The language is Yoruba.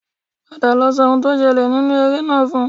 Padà lọ sọ ohun tí ó ṣẹlẹ̀ nínú eré náà fún un